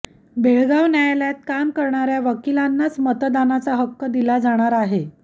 बेळगाव न्यायालयात काम करणाऱया वकिलांनाच मतदानाचा हक्क दिला जाणार आहे